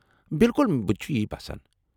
بالکل، بہٕ تہِ چُھ یی باسان۔